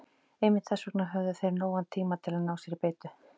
Einmitt þess vegna höfðu þeir nógan tíma til að ná sér í beitu.